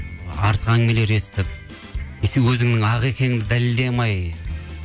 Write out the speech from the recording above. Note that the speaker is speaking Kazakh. артық әңгімелер естіп өзіңнің ақ екеніңді дәлелдей алмай